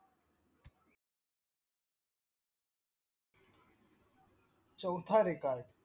चौथा record